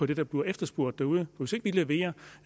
det der bliver efterspurgt derude hvis ikke vi leverer